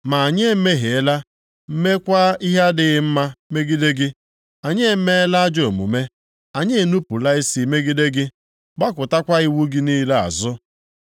Ma anyị emehiela meekwa ihe nʼadịghị mma megide gị. Anyị emeela ajọ omume, anyị enupula isi megide gị, gbakụtakwa iwu gị niile azụ.